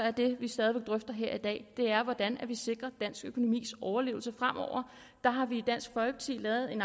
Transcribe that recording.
at det vi stadig væk drøfter her i dag er hvordan vi sikrer dansk økonomis overlevelse fremover og der har vi i dansk folkeparti lavet en